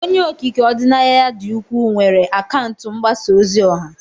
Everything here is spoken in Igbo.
Onye okike ọdịnaya dị ukwuu, nwere akaụntụ mgbasa ozi ọha.